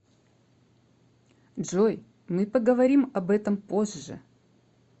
джой мы поговорим об этом позже